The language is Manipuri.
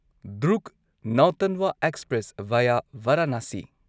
Durg Nautanwa express via Varanasi